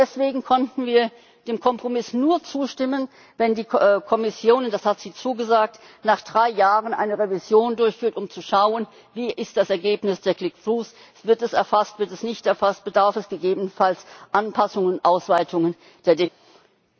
Deswegen konnten wir dem Kompromiss nur zustimmen, wenn die Kommission das hat sie zugesagt nach drei Jahren eine Revision durchführt, um zu schauen, wie ist das Ergebnis der click throughs, wird es erfasst, wird es nicht erfasst, bedarf es gegebenenfalls Anpassungen oder Ausweitungen der Definition.